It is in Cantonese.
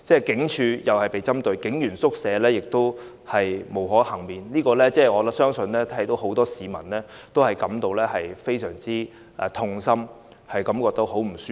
警署同樣被針對，警員宿舍亦不能幸免，我相信很多市民看到也會感到非常痛心和不舒服。